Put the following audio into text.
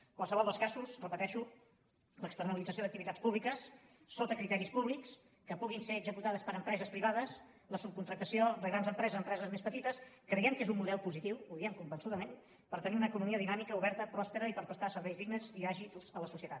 en qualsevol dels casos ho repeteixo l’externalització d’activitats públiques sota criteris públics que puguin ser executades per empreses privades la subcontractació de grans empreses empreses més petites creiem que és un model positiu ho diem convençudament per tenir una economia dinàmica oberta pròspera i per prestar serveis dignes i àgils a la societat